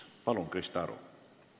Palun, Krista Aru!